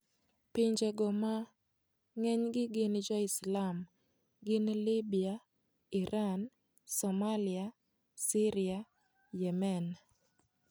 Pinjego ma ng'enygi gin joislam gin Libya, Iran, Somalia, Syria, Yemen.